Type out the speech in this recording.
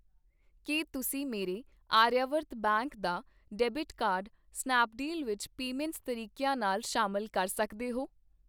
ਕੀ ਤੁਸੀਂਂ ਮੇਰੇ ਆਰਿਆਵਰਤ ਬੈਂਕ ਦਾ ਡੈਬਿਟ ਕਾਰਡ ਸਨੈਪਡੀਲ ਵਿੱਚ ਪੇਮੈਂਟ ਤਰੀਕਿਆਂ ਨਾਲ ਸ਼ਾਮਿਲ ਕਰ ਸਕਦੇ ਹੋ ?